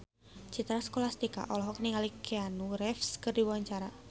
Citra Scholastika olohok ningali Keanu Reeves keur diwawancara